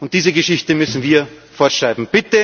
Und diese Geschichte müssen wir fortschreiben.